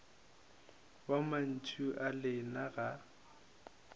wa mantšu a lena ga